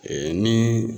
ni